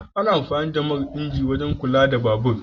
Ana amfani da man inji wajen kula da babur.